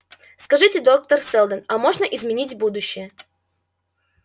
скажите доктор сэлдон а можно изменить будущее